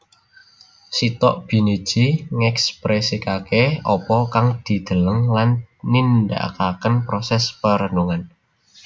Sitok biniji ngekpresiake apa kang dideleng lan nindakaken proses perenungan